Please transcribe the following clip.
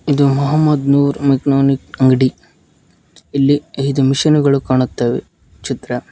ಇದು ಮೊಹಮ್ಮದ್ ನೂರ್ ಮೆಕ್ನೊನಿಕ್ ಅಂಗ್ಡಿ ಇಲ್ಲಿ ಐದು ಮೆಷೀನ್ ಗಳು ಕಾಣುತ್ತವೆ ಚಿತ್ರ--